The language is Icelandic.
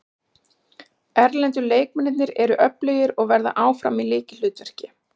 Erlendu leikmennirnir eru öflugir og verða áfram í lykilhlutverki.